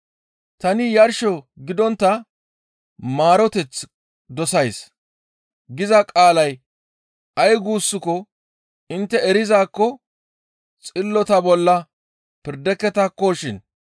‹Tani yarsho gidontta maaroteth dosays› giza qaalay ay guussako intte erizaakko xillota bolla pirdeketakkoshin.